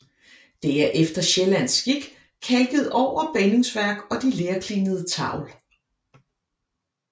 Det er efter sjællandsk skik kalket over både bindingsværk og de lerklinede tavl